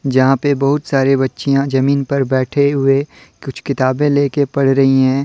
यहां पे बहुत सारे बच्चियां जमीन पर बैठे हुए कुछ किताबें ले के पढ़ रही हैं।